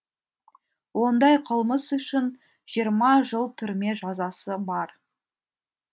ондай қылмыс үшін жиырма жыл түрме жазасы бар